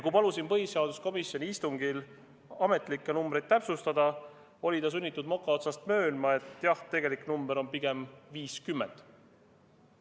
Kui ma palusin põhiseaduskomisjoni istungil ametlikke numbreid täpsustada, oli ta sunnitud moka otsast möönma, et jah, tegelik number on pigem 50.